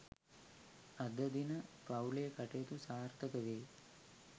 අද දින පවු‍ලේ කටයුතු සාර්ථක වේ